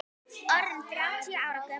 Orðinn þrjátíu ára gömul.